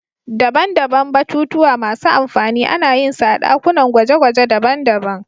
Daban-daban batutuwa masu amfani ana yin su a dakunan gwaje-gwaje daban-daban.